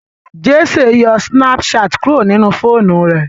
Jessy ń yo Snapchat kuro nínú fóònù rẹ.